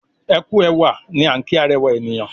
ẹkú ẹwà ní an ki arẹwa ènìyàn.